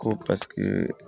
Ko paseke